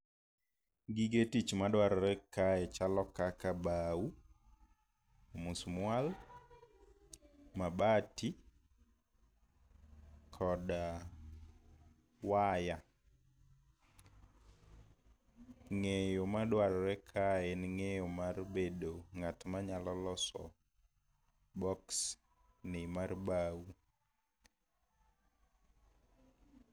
Gige tich madwarore kae chalo kaka bao, musmwal, mabati, koda waya. Ng'eyo madwarore kae en ng'eyo mar bedo ng'at manyalo loso box ni mar bao.